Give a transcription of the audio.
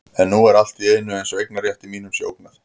En nú er allt í einu eins og eignarrétti mínum sé ógnað.